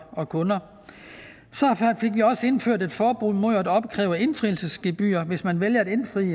og kunder så fik vi også indført et forbud mod at opkræve indfrielsesgebyr hvis man vælger at indfri